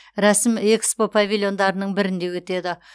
рәсім экспо павильондарының бірінде өтеді